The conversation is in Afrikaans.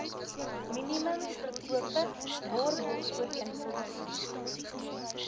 minimum verkope waarborgooreenkoms